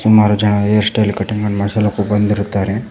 ಸುಮಾರು ಜನರು hair style cutting ಅನ್ನು ಮಾಡ್ಸಲಕ ಬಂದಿರುತ್ತಾರೆ.